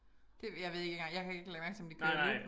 Det jeg ved ikke engang jeg kan ikke lægge mærke til om de kører loop